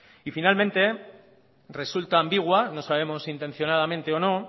y finalmente resulta ambigua no sabemos si intencionadamente o no